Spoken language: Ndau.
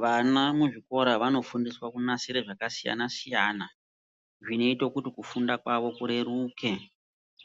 Vana muzvikora vanofundiswa kunasire zvakasiyana-siyana. Zvinoito kuti mukufunda kwavo kureruke.